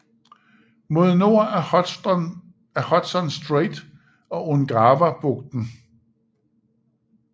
Mod nord af Hudson Strait og Ungavabugten